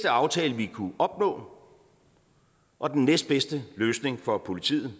aftale vi kunne opnå og den næstbedste løsning for politiet